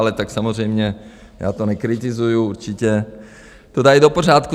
Ale tak samozřejmě, já to nekritizuji, určitě to dají do pořádku.